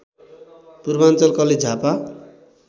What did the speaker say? Purvanchal college Jhapa